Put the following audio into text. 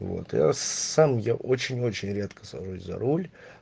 вот а сам я очень-очень редко сажусь за руль